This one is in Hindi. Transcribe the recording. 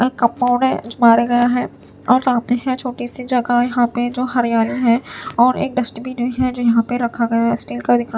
गए हैं और चाहते हैं छोटी सी जगह यहां पे जो हरियाली है और एक डस्टबिन है जो यहां पे रखा गया है स्टील का दिखा--